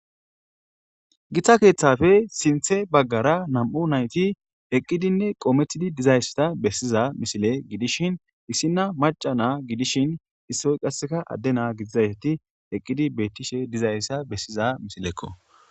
Gita kethappe sinthe bagara 2 nayt eqidinne qometid dizaysa besiza misile gidishn issina maca na gidishn issoy qase Ade na gididayt eqid betishe dizaysa besiza misileko.